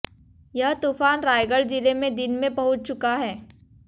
यह तूफान रायगढ़ जिले में दिन में पहुंच चुका है